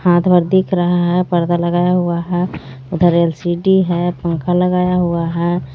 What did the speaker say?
दिख रहा है पर्दा लगाया हुआ है उधर एल_सी_डी है पंखा लगाया हुआ है.